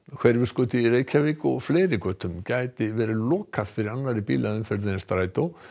Hverfisgötu í Reykjavík og fleiri götum gæti verið lokað fyrir annarri bílaumferð en strætó